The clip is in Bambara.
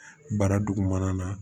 Bara dugumana na